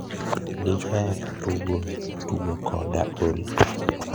diher tugo tugo Koda olly